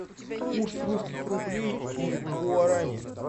курс русских рублей и гуарани